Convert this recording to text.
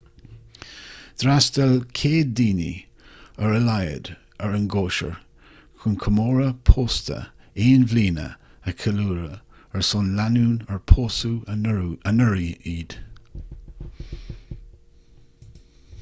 d'fhreastail 100 duine ar a laghad ar an gcóisir chun comóradh pósta aon bhliana a cheiliúradh ar son lánúin ar pósadh anuraidh iad